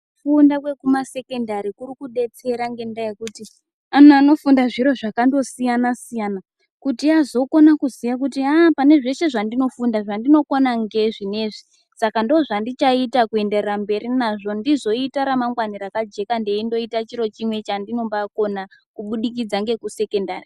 Kufunda kwekumasekendari kuri kudetsera ngendaa yekuti anhu anofunda zviro zvakandosiyana -siyana kuti azokona kuziya kuti haa pane zveshe zvandinofunda zvandinokona ngeizvi neizvi saka ndozvandichaita kuenderera mberi nazvo ndizoita ramangwana rakajeka ndeindoita chiro chimwe chandinombakona kuburikidza ngekusekondari.